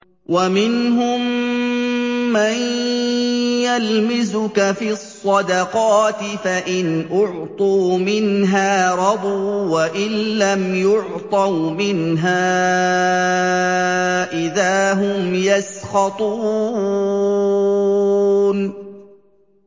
وَمِنْهُم مَّن يَلْمِزُكَ فِي الصَّدَقَاتِ فَإِنْ أُعْطُوا مِنْهَا رَضُوا وَإِن لَّمْ يُعْطَوْا مِنْهَا إِذَا هُمْ يَسْخَطُونَ